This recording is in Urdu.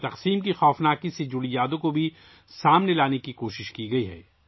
تقسیم کی ہولناکیوں سے جڑی یادوں کو بھی منظر عام پر لانے کی کوشش کی گئی ہے